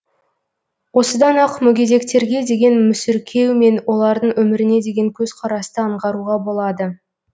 осыдан ақ мүгедектерге деген мүсіркеу мен олардың өміріне деген көзқарасты аңғаруға болады